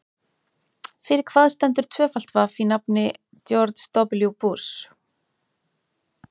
Fyrir hvað stendur tvöfalt vaff í nafni George W Bush?